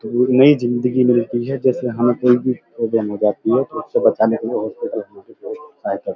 धुर में जिंदगी मिलती है जैसे हम कोई भी प्रॉब्लम हो जाती है तो उससे बचाने के लिए हॉस्पिटल हमारी बहोत सहायता करता है।